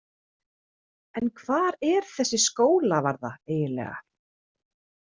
En hvar er þessi Skólavarða eiginlega?